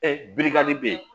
birikan le bɛ yen